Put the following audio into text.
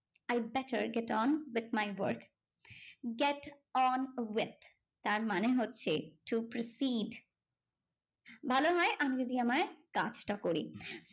I better get on with my work. get on with তার মানে হচ্ছে to proceed ভালো হয় আমি যদি আমার কাজটা করি।